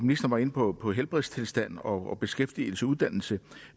var inde på på helbredstilstand og beskæftigelse uddannelse